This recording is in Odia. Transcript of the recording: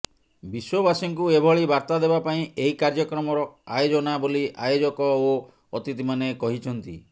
ବିଶ୍ବବାସୀଙ୍କୁ ଏଭଳି ବାର୍ତ୍ତା ଦେବା ପାଇଁ ଏହି କାର୍ଯ୍ୟକ୍ରମର ଆୟୋଜନା ବୋଲି ଆୟୋଜକ ଓ ଅତିଥିମାନେ କହିଛନ୍ତି